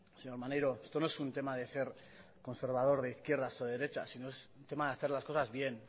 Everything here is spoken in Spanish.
señor maneiro esto no es un tema de ser conservador de izquierdas o de derechas sino es un tema de hacer las cosas bien